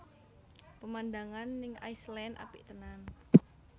Pemandangan ning Iceland apik tenan